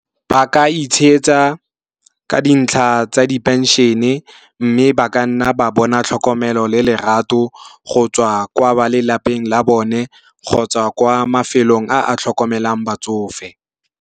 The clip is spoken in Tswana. Ba ka ka dintlha tsa di penšhene, mme ba ka nna ba bona tlhokomelo le lerato go tswa kwa ba lelapeng la bone kgotsa kwa mafelong a a tlhokomelang batsofe.